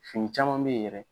Fini caman bɛ yen yɛrɛ